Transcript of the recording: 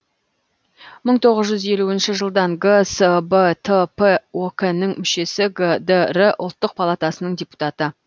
мың тоғыз жүз елуінші жылдан гсбтп ок нің мүшесі гдр ұлттық палатасының депутаты